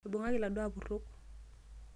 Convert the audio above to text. Eibungaki laduoo apurok.